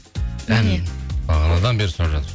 бағанадан бері сұрап жатыр